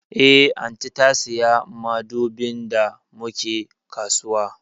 Eh, Aunty ta siya madubin da mu ke kasuwa